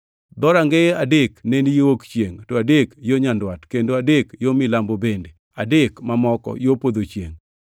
Dhorangeye adek ne ni yo wuok chiengʼ, to adek yo nyandwat, kendo adek yo milambo bende adek mamoko yo podho chiengʼ.